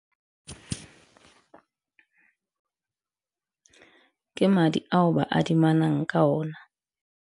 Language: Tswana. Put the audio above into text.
Ke madi ao ba adiminang ka ona.